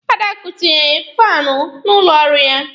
Adakụ tinyere faanụ n'ụlọ ọrụ ya.